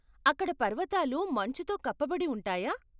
అక్కడ పర్వతాలు మంచుతో కప్పబడి ఉంటాయా?